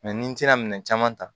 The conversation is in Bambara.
ni n tɛna minɛn caman ta